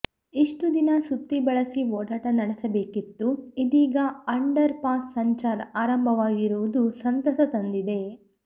ಇಷ್ಟು ದಿನ ಸುತ್ತಿ ಬಳಸಿ ಓಡಾಟ ನಡೆಸಬೇಕಿತ್ತು ಇದೀಗ ಅಂಡರ್ ಪಾಸ್ ಸಂಚಾರ ಆರಂಭವಾಗಿರುವುದು ಸಂತಸ ತಂದಿದೆ